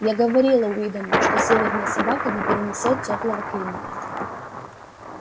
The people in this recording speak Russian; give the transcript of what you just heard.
я говорила уидону что северная собака не перенесёт тёплого климата